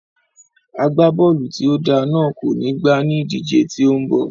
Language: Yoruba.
Agbábọ́ọ̀lù tí ó dáa náà kò ní gbá ní ìdíje tí ó ń bọ̀